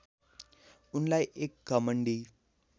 उनलाई एक घमण्डी